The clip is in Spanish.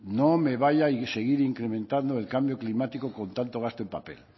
no me vaya y seguir incrementando el cambio climático con tanto gasto en papel